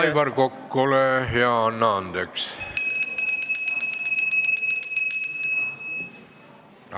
Aivar Kokk, ole hea, anna andeks!